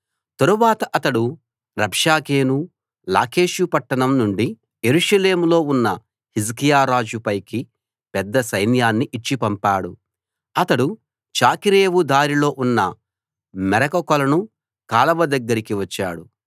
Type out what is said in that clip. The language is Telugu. తరువాత అతడు రబ్షాకేను లాకీషు పట్టణం నుండి యెరూషలేములో ఉన్న హిజ్కియా రాజు పైకి పెద్ద సైన్యాన్ని ఇచ్చి పంపాడు అతడు చాకిరేవు దారిలో ఉన్న మెరక కొలను కాలవ దగ్గరికి వచ్చాడు